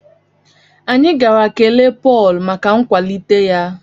Anyị gara kelee Pọl maka nkwalite ya